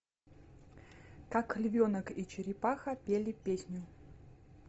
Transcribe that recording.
как львенок и черепаха пели песню